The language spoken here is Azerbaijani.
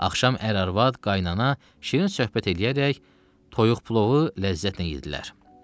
Axşam ər-arvad, qaynana, şirin söhbət eləyərək toyuq plovu ləzzətlə yeddilər.